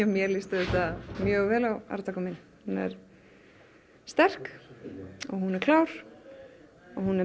mér líst auðvitað mjög vel á arftaka minn hún er sterk hún er klár og hún er